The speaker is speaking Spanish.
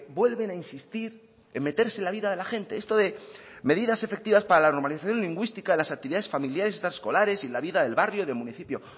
vuelven a insistir en meterse en la vida de la gente esto de medidas efectivas para la normalización lingüísticas de las actividades familiares extraescolares y la vida del barrio del municipio